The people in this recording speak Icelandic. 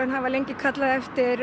hafa lengi kallað eftir